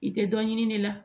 I tɛ dɔ ɲini ne la